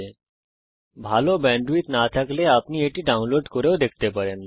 যদি আপনার কাছে ভালো ব্যান্ডউইডথ না থাকে তাহলে আপনি এটা ডাউনলোড করেও দেখতে পারেন